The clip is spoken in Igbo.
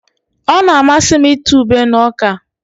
Ọ na-amasị m ịta ube na ọka